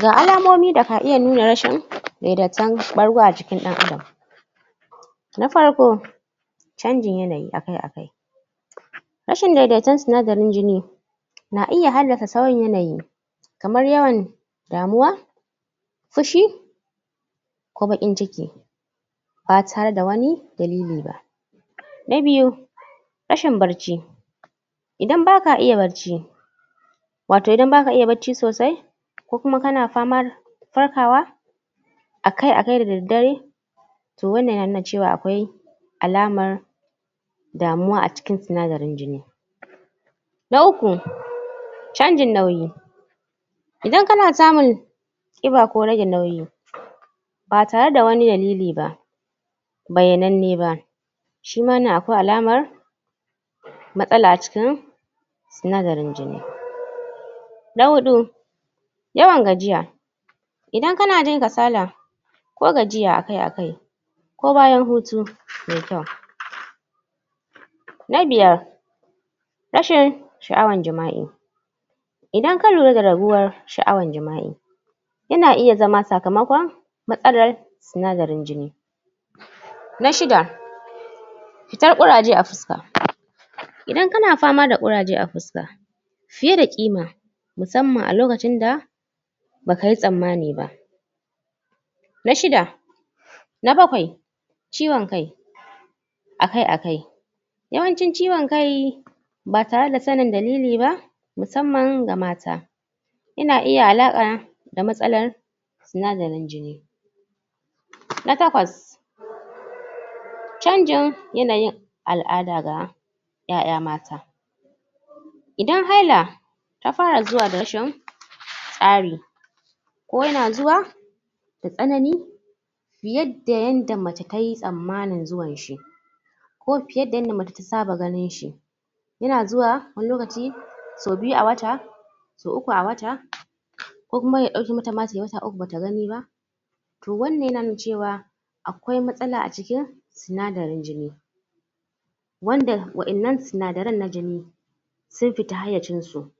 Ga alamomin da ka iya nuna rashin daidaitaccen ɓargo a jikin ɗan'adam. na farko canjin yanyi akai-akai rashin daidaiton sinadarin jini na iya haddasa sauyin yanayi kamar yawan damuwa fushi ko baƙin ciki. ba tare da wani dalili ba. Na biyu, rashin barci idan ba ka iya barci wato idan ba ka iya barci sosai ko kuma kana famar farkawa akai-akai da daddare to wannan yana nuna cewar akwai alamar damuwa a cikin sinadarin jini. Na uku canjin nauyi idan kana samun ƙiba ko rage nauyi ba tare da wani dalili ba bayyabab be ba shi ma wannan akwai alamar matsala a cikin sindarin jini Na huɗu yawan gajiya idan kana jin kasala ko gajiya akai-akai ko bayan hutu mai kyau na biyar rashin sha'awar jima'i idan ka lura da raguwa sha'awar jima'i yana iya zama sakamakon matsalar sinadarin jini Na shida Fitar ƙuraje a fuska, idan kana fama da ƙuraje a fuska fiye ƙima musamman a lokacin da ba ka yi tsammani ba. Na shida Na bakwai ciwon kai akai-akai yawancin ciwon kai ba tare da sanin dalili ba musamman ga mata yana iya alaƙa da matsalar sina darin jini Na takwas canjin yanayin al'ada ga ƴaƴa mata idan haila ta fara zuwa da rashin tsari ko yana zuwa da tsanani fiye da yadda mace ta yi tsammanin zuwanshi ko fiye da yadda mace ta saba ganinshi. yana zuwa wani lokaci sau biyu a wata sau uku a wata ko kuma ma ya ɗauke mata ma tai wata uku ba ta gani ba. to wannan yana nuna cewa a kwai matsala acikin sinadarin jini. wanda waɗannan sinadaran na jini sun fita hayyacinsu,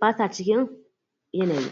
ba sa cikin yanayi.